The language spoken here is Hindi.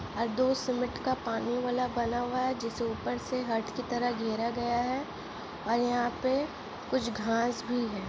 और दो सीमेंट का पानी वाला बना हुआ है जिसे ऊपर से हट की तरह खेरा गया है और यहाँ पे कुछ घास भी है।